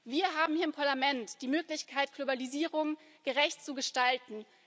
Wir haben hier im Parlament die Möglichkeit, Globalisierung gerecht zu gestalten.